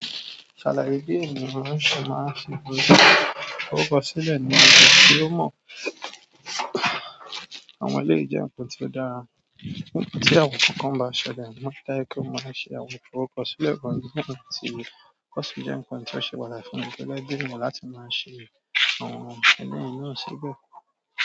Ṣalaye bi ènìyàn sì máa ń fi orúkọ sílẹ̀ níbi tí ó mọ̀ àwọn ilé jẹ́ nkan tí ó dára. Nígbà tí àwọn kankan bá ṣẹlẹ̀, máa n ri dájú pe máa ṣe àwọn iforukọsilẹ kan, wọ̀nyí ni ti kọ́ sì jẹ́ ǹkan tí ó ṣe pàtàkì láìfùnni pé ọlọ́gbọ́n ènìyàn láti máa ṣe àwọn ẹlẹ́y náà síbẹ̀.